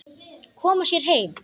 Koma sér heim.